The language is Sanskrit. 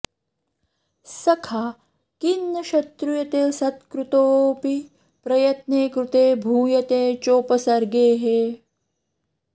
सखा किं न शत्रुयते सत्कृतोऽपि प्रयत्नेकृते भूयते चोपसर्गेः